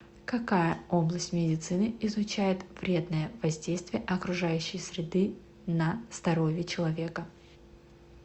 какая область медицины изучает вредное воздействие окружающей среды на здоровье человека